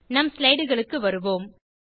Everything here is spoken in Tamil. நம் ஸ்லைடுகளுக்கு வருவோம்